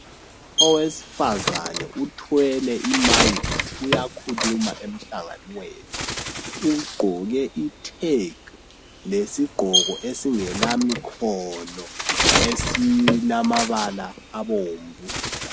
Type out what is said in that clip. Owesifazane uthwele imayikhi uyakhuluma emhlanganweni. Ugqoke ithegi, lesigqoko esingelamikhono, esilamabala abomvu.